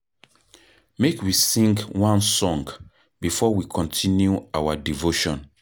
Make we sing one song before we continue our devotion.